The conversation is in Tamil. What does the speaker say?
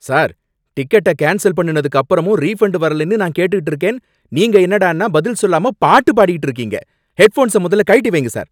சார்! டிக்கெட்ட கேன்ஸல் பண்ணுனதுக்கு அப்பறமும் ரீஃபன்ட் வரலைனு நான் கேட்டுட்டிருக்கேன், நீங்க என்னடான்னா பதில் சொல்லாம பாட்டுப் பாடிட்டு இருக்கீங்க! ஹெட் ஃபோன்ஸ முதல்ல கழட்டி வையுங்க சார்!